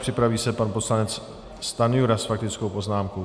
Připraví se pan poslanec Stanjura s faktickou poznámkou.